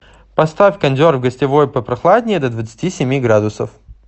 поставь кондер в гостевой попрохладнее до двадцати семи градусов